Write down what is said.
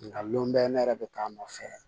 Nka lll bɛ ne yɛrɛ bɛ k'a nɔfɛ